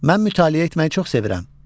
Mən mütaliə etməyi çox sevirəm.